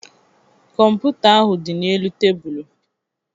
Kọmputa ahụ dị n'elu tebụlụ